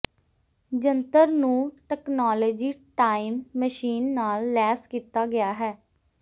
ਜੰਤਰ ਨੂੰ technology time machine ਨਾਲ ਲੈਸ ਕੀਤਾ ਗਿਆ ਹੈ